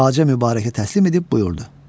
Xacə Mübarəkə təslim edib buyurdu: